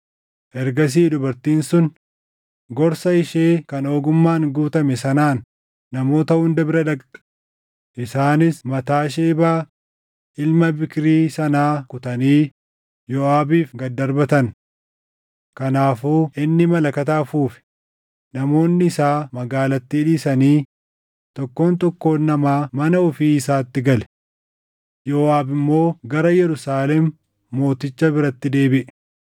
Ergasii dubartiin sun gorsa ishee kan ogummaan guutame sanaan namoota hunda bira dhaqxe; isaanis mataa Shebaa ilma Biikrii sanaa kutanii Yooʼaabiif gad darbatan. Kanaafuu inni malakata afuufe; namoonni isaa magaalattii dhiisanii tokkoon tokkoon namaa mana ofii isaatti gale. Yooʼaab immoo gara Yerusaalem mooticha biratti deebiʼe.